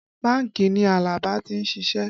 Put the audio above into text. Bánkì ni Alaba ti ń ṣiṣẹ́